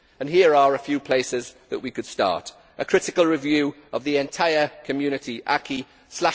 And here are a few places where we could start a critical review of the entire Community acquis